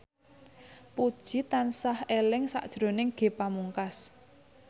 Puji tansah eling sakjroning Ge Pamungkas